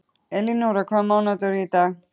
Elinóra, hvaða mánaðardagur er í dag?